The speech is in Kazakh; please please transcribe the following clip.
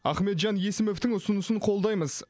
ахметжан есімовтің ұсынысын қолдаймыз